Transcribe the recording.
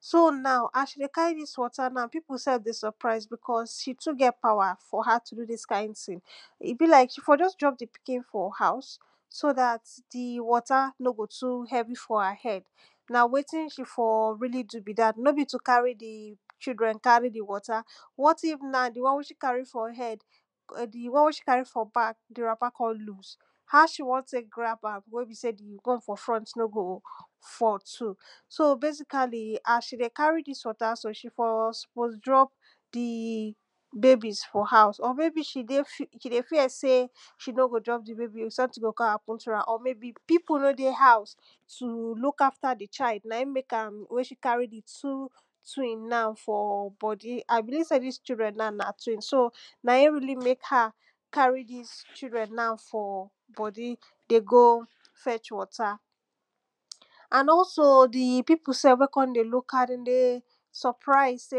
So now as she dey carry dis water now pipu sef dey surprise becos she too get power for her to do dis kind tin, e be like she for just drop di pikin for house so dat di water no go too heavy for her head na wetin she for really do be dat no be to carry di children carry di water what if now di one wey she carry for head or di one wey she carry for back di wrapper kon loose how she wan take grab am wey be sey di one for front no go fall too so basically as she dey carry dis water so she for suppose drop di babies for house or maybe she dey fear sey she no go drop di baby sometin go kon happen to am or maybe pipu wey dey house to look after di child naim make am carry di two twin now for body I believe sey dis children now na twins so naim really make her carry dis children now for body dey go fetch water and also di pipu sef wey kon dey look her dem dey surprise sey.